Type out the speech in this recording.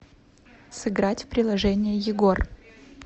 сыграть в приложение егор